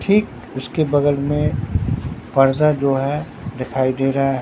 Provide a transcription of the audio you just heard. ठीक उसके बगल में पर्दा जो है दिखाई दे रहा।